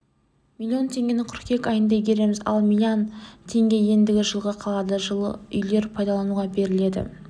млн теңгені қыркүйек айында игереміз ал млн теңге ендігі жылға қалады жылы үйлер пайдалануға беріледі